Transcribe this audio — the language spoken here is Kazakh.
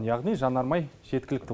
яғни жанармай жеткілікті